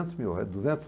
mil, é duzentos?